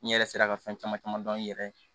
N yɛrɛ sera ka fɛn caman caman dɔn n yɛrɛ ye